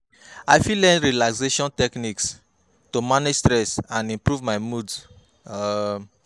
I fit learn relaxation techniques to manage stress and improve my mood. um